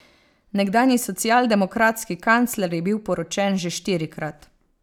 Nekdanji socialdemokratski kancler je bil poročen že štirikrat.